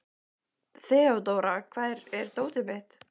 Þeódóra, hvar er dótið mitt?